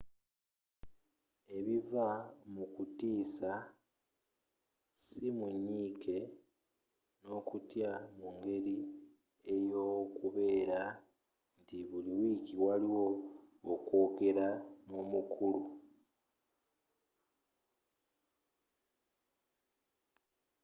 ebiva mu kutiisa si mu nyiike n'okutya mu ngeri y'okubeera nti buli wiiki waliwo okwogeramu n'omukulu